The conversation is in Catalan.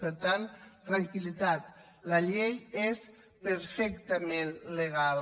per tant tranquillitat la llei és perfectament legal